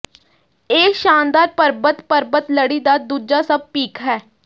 ਇਹ ਸ਼ਾਨਦਾਰ ਪਰਬਤ ਪਰਬਤ ਲੜੀ ਦਾ ਦੂਜਾ ਸਭ ਪੀਕ ਹੈ